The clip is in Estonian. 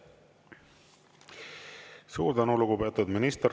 Suur tänu, lugupeetud minister!